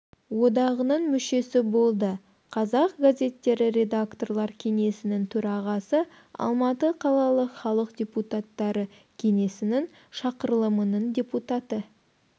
одағының мүшесі болды қазақ газеттері редакторлар кеңесінің төрағасы алматы қалалық халық депутаттары кеңесінің шақырылымының депутаты